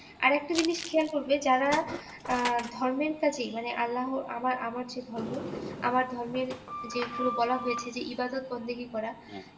আরেকটা জিনিস খেয়াল করবে যারা আহ ধর্মের কাজে মানে আল্লাহ আমার আমার যে ধর্ম আমার ধর্মের যেগুলো বলা হয়েছে যে ইবাদত বরদেহি করা